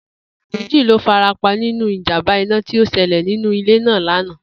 Ènìyán méjì ló farapa nínú ìjàmbá iná tí ó s̩e̩lè̩ nínú ilé náà lánàá